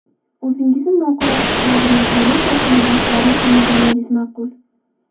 O‘zingizni noqulay his qiladigan ko‘ylak yoki liboslarni kiymaganingiz ma’qul.